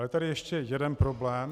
Je tady ještě jeden problém.